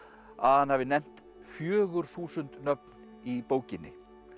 að hann hafi nefnt fjögur þúsund nöfn í bókinni